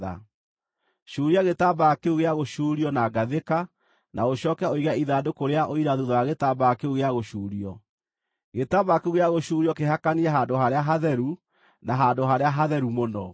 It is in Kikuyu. Cuuria gĩtambaya kĩu gĩa gũcuurio na ngathĩka, na ũcooke ũige ithandũkũ rĩa Ũira thuutha wa gĩtambaya kĩu gĩa gũcuurio. Gĩtambaya kĩu gĩa gũcuurio kĩhakanie Handũ-harĩa-Hatheru na Handũ-harĩa-Hatheru-Mũno.